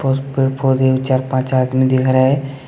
पेड़ पौधे चार पांच आदमी दिख रहे--